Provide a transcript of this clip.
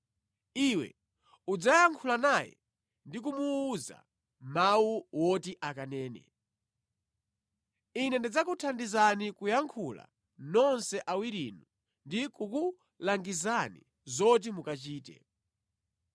Iwe udzayankhula naye ndi kumuwuza mawu oti akanene. Ine ndidzakuthandizani kuyankhula nonse awirinu ndi kukulangizani zoti mukachite.